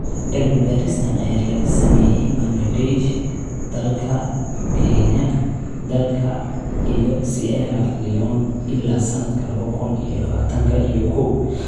Cilmi-baaristan ayaa laga sameeyay Bangladesh, dalka, Kenya, dalka, iyo Sierra Leone illaa sanadka lawa kun iyo lawatanka iyo koow.